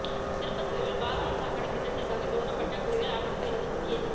திருபத்தூரில் பாதான சாக்கடை திட்டத்திற்காக தோண்டப்பட்ட குழியில் அரசு பேருந்து சிக்கியது